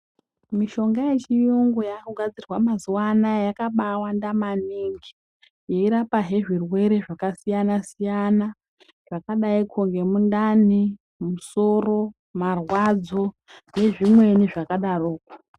Mishonga yechiyungu yakugadzirwa mazuwa anaya yakabaawanda maningi yeirapazve zvirwere zvakasiyana siyana zvakadaiko ngemundani, musoro, marwadzo nezvimweni zvakadaroko.